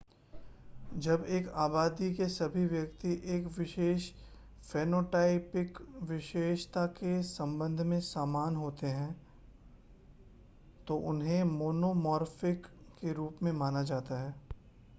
जब एक आबादी के सभी व्यक्ति एक विशेष फ़ेनोटाइपिक विशेषता के संबंध में समान होते हैं तो उन्हें मोनोमॉर्फ़िक के रूप में जाना जाता है